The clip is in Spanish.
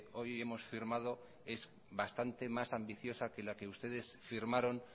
hoy hemos firmado es bastante más ambiciosa que la que ustedes firmaron